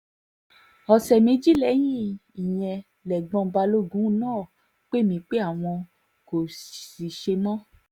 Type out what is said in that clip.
ọ̀sẹ̀ méjì lẹ́yìn ìyẹn lẹ́gbọ́n balógun náà pè mí pé àwọn náà kò ṣe mọ́